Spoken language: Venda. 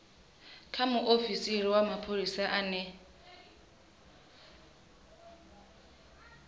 kha muofisi wa mapholisa ane